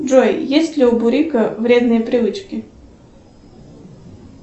джой есть ли у бурика вредные привычки